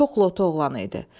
Çox loto oğlanı idi.